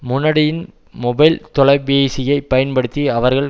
முனடியின் mobile தொலை பேசியைப் பயன்படுத்தி அவர்கள்